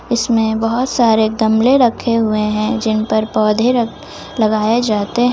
इसमें बहोत सारे गमले रखे हुए हैं जिन पर पौधे लगाए जाते--